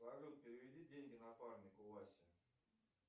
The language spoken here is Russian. салют переведи деньги напарнику васе